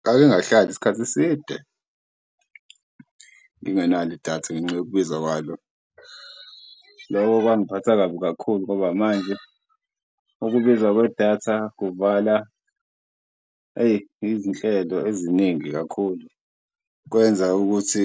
Ngake ngahlala iskhathi eside ngingenalo idatha ngenxa yokubiza kwalo loko kwangiphatha kabi kakhulu ngoba manje ukubiza kwedatha kuvala, eyi izinhlelo eziningi kakhulu. Kwenza ukuthi